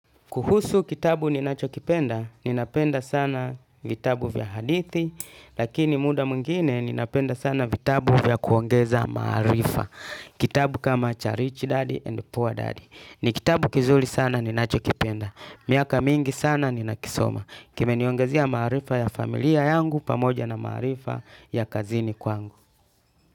Kuhusu kitabu ninachokipenda, ninapenda sana vitabu vya hadithi, lakini muda mwingine ninapenda sana vitabu vya kuongeza maarifa. Kitabu kama Charish Daddy and Poor Daddy. Ni kitabu kizuri sana ninachokipenda. Miaka mingi sana ninakisoma. Kimeniongezea maarifa ya familia yangu pamoja na maarifa ya kazini kwangu.